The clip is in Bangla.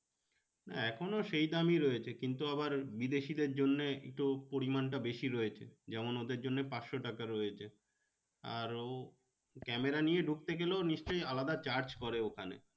এখনো সেই দামই আছে কিন্তু আবার বিদেশিদের জন্যে একটু পরিমানটা বেশি রয়েছে যেমন ওদের জন্যে পাঁচশো টাকা রয়েছে আরো camera নিয়ে ঢুকতে গেলেও নিশ্চই আলাদা charge করে ওখানে।